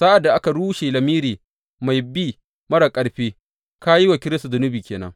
Sa’ad da ka rushe lamiri mai bi marar ƙarfi, ka yi wa Kiristi zunubi ke nan.